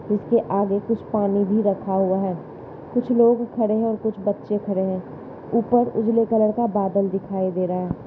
इसके आगे कुछ पानी भी रखा हुआ है। कुछ लोग खड़े हैं और कुछ बच्चे खड़े हैं। ऊपर उजले कलर का बादल दिखाई दे रहा है।